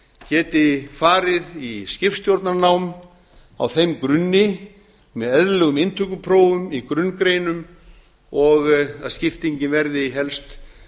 geti farið í skipstjórnarnám á þeim grunni með eðlilegum inntökuprófum í grunngreinum og að skiptingin verði helst